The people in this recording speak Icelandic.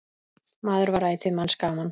Maður var ætíð manns gaman.